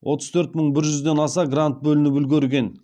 отыз төрт мың бір жүзден аса грант бөлініп үлгерген